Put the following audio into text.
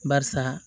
Barisa